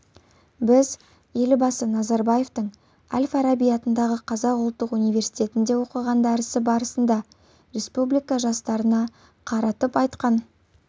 біз елбасы назарбаевтың әл-фараби атындағы қазақ ұлттық университетінде оқыған дәрісі барысында республика жастарына қаратып айтқан